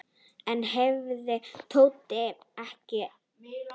Enn hreyfði Tóti sig ekki.